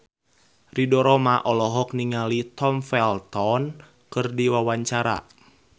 Ridho Roma olohok ningali Tom Felton keur diwawancara